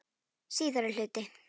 Síðari hluti